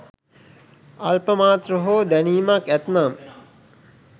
අල්පමාත්‍ර හෝ දැනීමක් ඇත්නම්